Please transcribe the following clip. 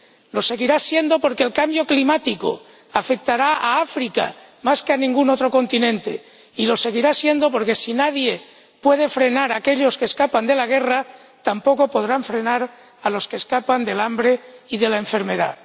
Lo seguirá siendo porque el cambio climático afectará a África más que a ningún otro continente, y lo seguirá siendo porque si nadie puede frenar a aquellos que escapan de la guerra, tampoco podrá frenar a los que escapan del hambre y de la enfermedad.